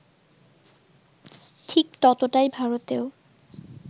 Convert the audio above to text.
ঠিক ততটাই ভারতেও